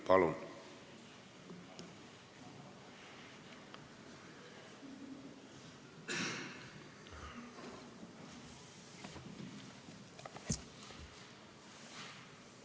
Palun!